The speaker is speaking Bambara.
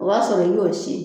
O b'a sɔrɔ i n y'o si.